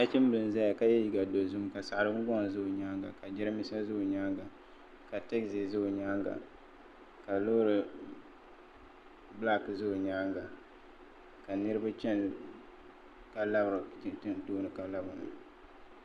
Nachim bila n zaya ka yɛ liiga dozim ka saɣiri gun gɔŋ za o nyanga ka geranbiisa za o ka teizi za o nyanga ka loori sabinli za o nyanga ka niriba chɛni tooni ka labiri na